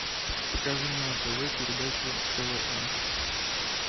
покажи мне на тв передачу квн